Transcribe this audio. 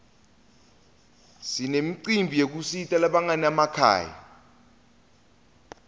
sinemicimbi yekusita labanganamakhaya